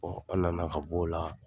An nana ka bɔ o la